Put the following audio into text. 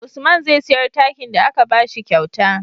Usman zai siyar takin da aka bashi kyauta